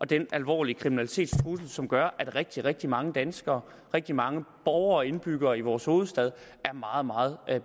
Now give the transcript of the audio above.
den alvorlige kriminalitetstrussel som gør at rigtig rigtig mange danskere og rigtig mange borgere og indbyggere i vores hovedstad er meget meget